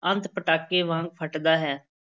ਅੰਤ ਪਟਾਕੇ ਵਾਂਗ ਫਟਦਾ ਹੈ।